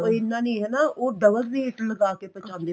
ਉਹ ਇੰਨਾ ਨੀਂ ਹਨਾ ਉਹ double rate ਲਗਾ ਕੇ ਪਹੁੰਚਾਉਂਦੇ